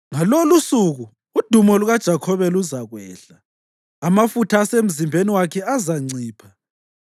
“Ngalolusuku udumo lukaJakhobe luzakwehla; amafutha asemzimbeni wakhe azancipha.